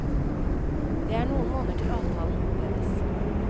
Det er noen måneder til avtalen oppheves.